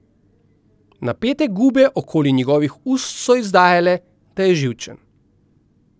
Napete gube okoli njegovih ust so izdajale, da je živčen.